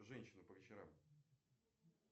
женщина по вечерам